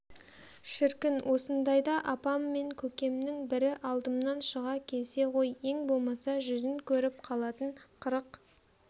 шіркін осындайда апам мен көкемнің бірі алдымнан шыға келсе ғой ең болмаса жүзін көріп қалатын қырық